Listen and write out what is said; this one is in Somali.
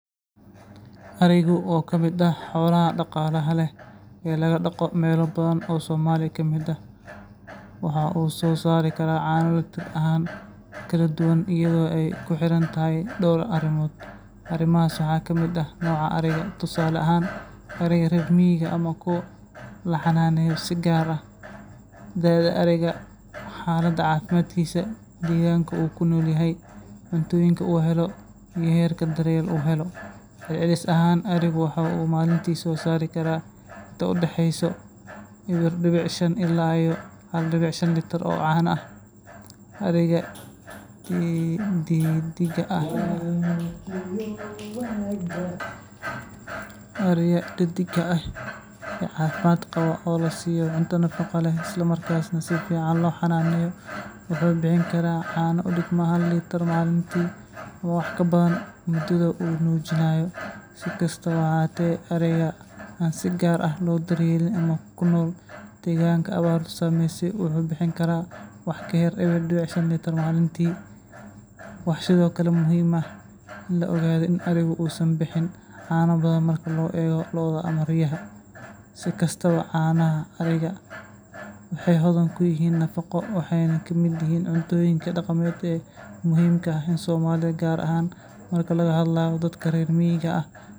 Arigaasi waa nooc ka mid ah ari dhaqanka dhaqanka, oo caan ku ah soo saarista caano tayo sare leh oo nafaqo badan leh. Tirada litirrada caano ee arigani soo saari karo waxay ku xiran tahay dhowr arrimood oo muhiim ah sida da’da ariga, caafimaadkiisa guud, nooca quudinta, iyo xaaladda deegaanka uu ku nool yahay. Ariga caafimaad qaba, oo si wanaagsan loo quudiyo lana daryeelo, ayaa maalintii soo saari kara inta u dhexeysa sedax litir oo caano ah, iyadoo xilliyada gu'ga iyo dayrta ay caanuhu badan karaan. Intaa waxaa dheer, hadba nooca ari ee la hadlayo, tusaale ahaan ari dhaqameedka Soomaaliyeed ama noocyo kale oo caan ka soo saara.